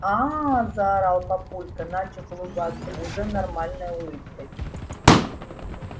аа заорал папулька начав улыбаться уже нормальной улыбкой